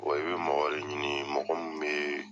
Wa i bɛ mɔgɔ de ɲini mɔgɔ min bɛ